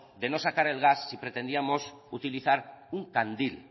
de no sacar el gas si pretendíamos utilizar un candil